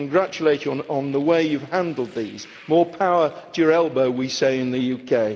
I congratulate you on the way you have handled these more power to your elbow, as we say in the UK.